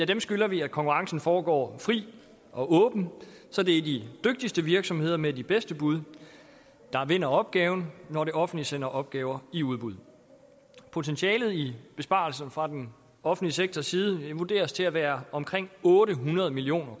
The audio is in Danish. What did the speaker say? dem skylder vi at konkurrencen foregår frit og åbent så det er de dygtigste virksomheder med de bedste bud der vinder opgaven når det offentlige sender opgaver i udbud potentialet i besparelser fra den offentlige sektors side vurderes til at være omkring otte hundrede million